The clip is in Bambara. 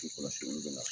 Kɔlɔsiliw bɛ na